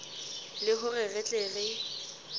le hore re tle re